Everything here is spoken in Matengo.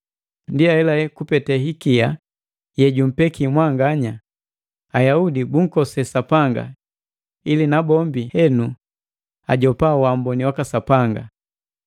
Ndi haelahela kupete hikia ye jumpeki mwanganya, Ayaudi bunkose Sapanga ili nabombi henu ajopa waamboni waka Sapanga.